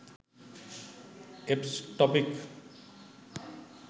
eps topic